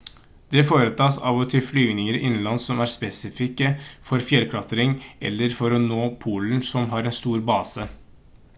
det foretas av og til flyvninger innenlands som er spesifikke for fjellklatring eller for å nå polen som har en stor base